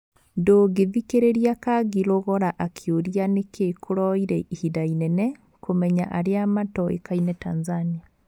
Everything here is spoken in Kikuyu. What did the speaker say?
Ndũngĩthikĩrĩria Kangi Lugora akĩũria nĩkĩ kũroire ihinda inene kũmenya arĩa matoĩkaine Tanzania.